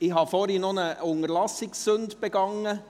Ich habe vorhin noch eine Unterlassungssünde begangen: